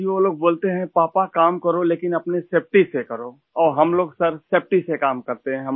سر ، وہ لوگ کہتے ہیں ، پاپا کام کرو ، لیکن اپنی حفاظت سے کرو اور سر ہم لوگ سیفٹی سے کام کرتے ہیں